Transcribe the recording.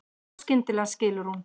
Og skyndilega skilur hún.